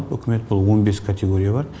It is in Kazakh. үкімет бұл он бес категория бар